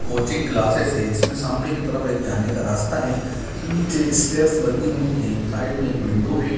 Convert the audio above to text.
Coaching classes है इसमे सामने की तरफ एक जाने का रास्ता है नीचे स्टेप्स बनी हुई है साइड मे एक विंडो है।